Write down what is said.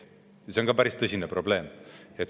See on ka päris tõsine probleem.